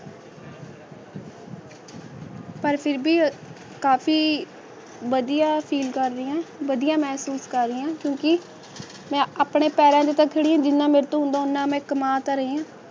ਪਰ ਫਿਰ ਵੀ ਕਾਫੀ ਵਧੀਆ ਸੀ ਅਕਾਲੀਆਂ ਵਧੀਆ ਮਹਿਸੂਸ ਕਰ ਲਿਆ ਕਿਉਂਕਿ ਮੈਂ ਆਪਣੇ ਭਰਾ ਨੂੰ ਰੱਖੜੀ ਦੀਆਂ ਵੋਟਾਂ ਦਾ ਨਾਮ ਤਾ ਰਹੀ ਆਂ